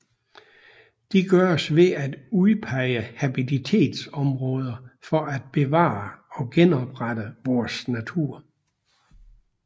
Det gøres ved at udpege habitatsområder for at bevare og genoprette vores natur